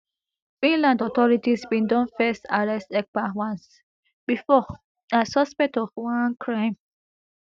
finland authorities bin don first arrest ekpa once bifor as suspect of one crime